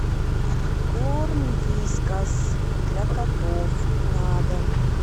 корм вискас для котов на дом